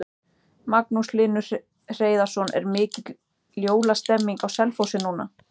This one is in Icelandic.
Magnús Hlynur Hreiðarsson: Er mikil jólastemning á Selfossi núna?